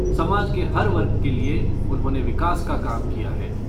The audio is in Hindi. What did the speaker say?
समाज के हर वर्ग के लिये उन्होंने विकास का काम किया है।